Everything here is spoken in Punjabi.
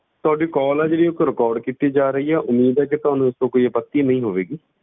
ਤੁਹਾਡੀ call ਆ ਜਿਹੜੀ ਉਹ record ਕੀਤੀ ਜਾ ਰਹੀ ਹੈ, ਉਮੀਦ ਹੈ ਕਿ ਤੁਹਾਨੂੰ ਇਸ ਤੋਂ ਕੋਈ ਆਪੱਤੀ ਨਹੀਂ ਹੋਵੇਗੀ।